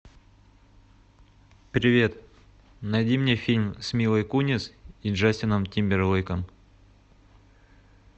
привет найди мне фильм с милой кунис и джастином тимберлейком